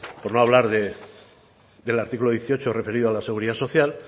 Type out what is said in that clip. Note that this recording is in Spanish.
por no hablar del artículo dieciocho referido a la seguridad social